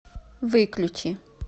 выключи